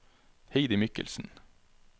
Heidi Michelsen